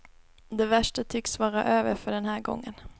Det värsta tycks vara över för den här gången.